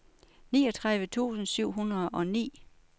niogtredive tusind syv hundrede og ni